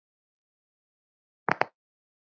Vegna þess, að Japanir treysta